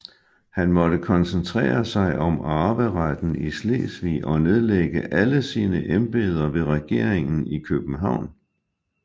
Han måtte koncentrere sig om arveretten i Slesvig og nedlægge alle sine embeder ved regeringen i København